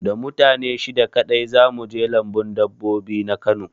Da mutane shida kaɗai za mu je lambun dabbobi na Kano